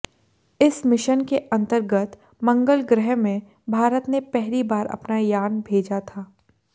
इस मिशन के अंतर्गत मंगल ग्रह में भारत ने पहली बार अपना यान भेजा था